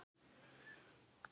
Hvaða orð rímar við Elín?